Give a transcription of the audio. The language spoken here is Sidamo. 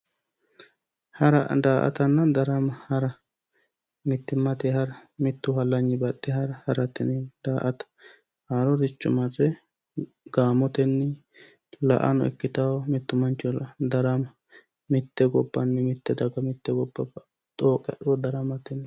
hara daa'atanna darama hara mittimmate hara baxxe hara harate yineemmo haaroricho marre gaamotenni la'ano ikkitawo darama mitte gobbanni mitte gobba daga xooqqe hadhuro daramate yineemmo